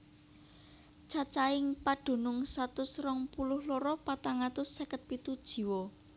Cacahing padunung satus rong puluh loro patang atus seket pitu jiwa